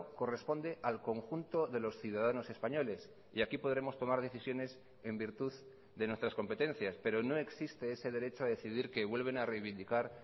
corresponde al conjunto de los ciudadanos españoles y aquí podremos tomar decisiones en virtud de nuestras competencias pero no existe ese derecho a decidir que vuelven a reivindicar